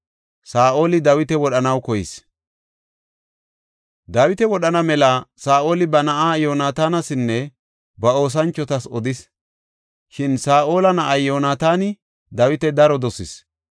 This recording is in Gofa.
Dawita wodhana mela Saa7oli ba na7aa Yoonatanasinne ba oosanchotas odis. Shin Saa7ola na7ay Yoonataani Dawita daro dosees.